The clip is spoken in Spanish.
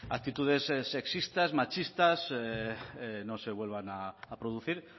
actitudes sexistas machistas no se vuelvan a producir